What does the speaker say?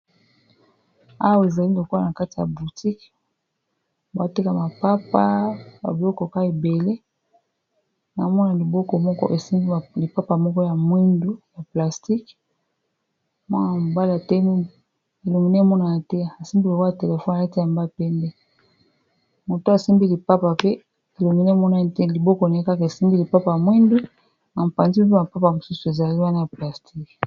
Awa ezali lokwala na kati ya boutique bateka mapapa bablokoka ebele namona liboko moko esimbi lipapa moko ya mwindu, ya plastique mwanaa mbala tei elomine monana te asimbi lokwala telefone alati yambapende moto asimbi lipapa pe kilomine monaya te liboko nei kaka esembi lipapa ya mwindu, na mpanzi mope mapapa mosusu ezali wana ya plastiqe.